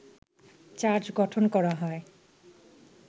charge গঠন করা হয়